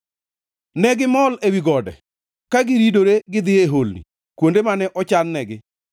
ne gimol ewi gode, ka giridore gidhi e holni, kuonde mane ochan-negi.